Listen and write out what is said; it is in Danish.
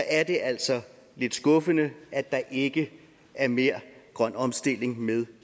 er det altså lidt skuffende at der ikke er mere grøn omstilling med